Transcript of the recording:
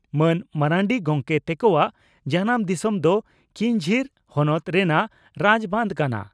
ᱢᱟᱱ ᱢᱟᱨᱱᱰᱤ ᱜᱚᱢᱠᱮ ᱛᱮᱠᱚᱣᱟᱜ ᱡᱟᱱᱟᱢ ᱫᱤᱥᱚᱢ ᱫᱚ ᱠᱤᱧᱡᱷᱤᱨ ᱦᱚᱱᱚᱛ ᱨᱮᱱᱟᱜ ᱨᱟᱡᱽᱵᱟᱸᱫᱷ ᱠᱟᱱᱟ ᱾